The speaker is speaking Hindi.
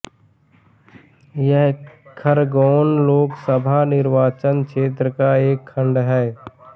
यह खरगोन लोकसभा निर्वाचन क्षेत्र का एक खंड है